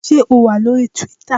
Ṣé o wà lóri Twíítà?